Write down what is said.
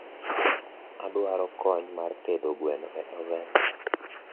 awdwaro kony mar tedo gweno e oven